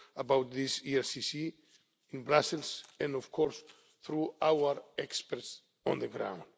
you will know about this in Brussels and of course through our experts on